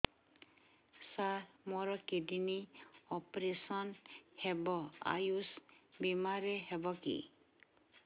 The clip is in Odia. ସାର ମୋର କିଡ଼ନୀ ଅପେରସନ ହେବ ଆୟୁଷ ବିମାରେ ହେବ କି